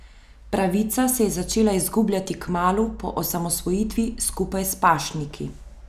Pravica se je začela izgubljati kmalu po osamosvojitvi skupaj s pašniki.